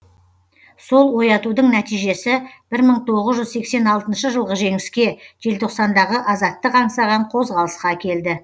сол оятудың нәтижесі бір мың тоғыз жүз сексен алтыншы жылғы жеңіске желтоқсандағы азаттық аңсаған қозғалысқа әкелді